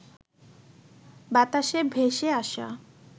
বাতাসে ভেসে আসা